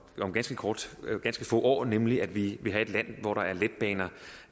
ganske få år nemlig at vi vil have et land hvor der er letbaner